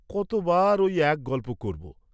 কত বার ঐ এক গল্প করব?